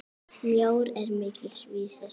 Mjór er mikils vísir.